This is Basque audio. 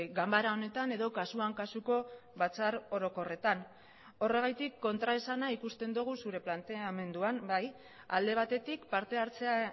ganbara honetan edo kasuan kasuko batzar orokorretan horregatik kontraesana ikusten dugu zure planteamenduan bai alde batetik partehartzea